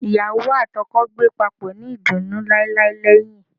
Iyawo ati oko gbe papo ni idunnu lailai lẹhin